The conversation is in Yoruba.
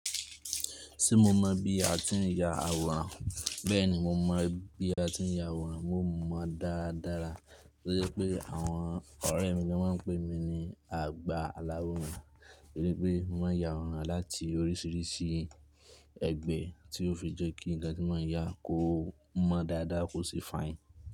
Ṣé mo mọ̀ bí a ti ń ya awọrán? Bẹ́ẹ̀ni, mo mọ̀ bí a ti ń ya awọrán, mo mọ̀ dáradára. To jẹ pé àwọn ọ̀rẹ́ mi ló máa ń pè mí ní àgbà aláwọ̀rán, nítorí pé mo ya awọrán láti orísìírísìí ẹgbẹ́ tí ó fi jẹ́ kí nnkan tí mo n ya kó mọ́ dáadáa, kó sì fine.